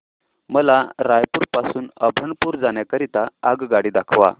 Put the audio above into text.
मला रायपुर पासून अभनपुर जाण्या करीता आगगाडी दाखवा